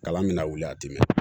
Kalan mina wuli a ti dimi